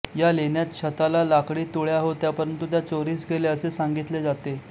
या लेण्यात छताला लाकडी तुळया होत्या परंतु त्या चोरीस गेल्या असे सांगितले जाते